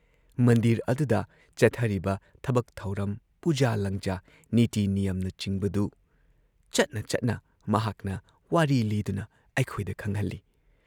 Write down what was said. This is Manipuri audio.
ꯃꯟꯗꯤꯔ ꯑꯗꯨꯨꯗ ꯆꯠꯊꯔꯤꯕ ꯊꯕꯛ ꯊꯧꯔꯝ, ꯄꯨꯖꯥ ꯂꯥꯡꯖꯥ, ꯅꯤꯇꯤ ꯅꯤꯌꯝꯅꯆꯤꯡꯕꯗꯨ ꯆꯠꯅ ꯆꯠꯅ ꯃꯍꯥꯛꯅ ꯋꯥꯔꯤ ꯂꯤꯗꯨꯅ ꯑꯩꯈꯣꯏꯗ ꯈꯪꯍꯜꯂꯤ ꯫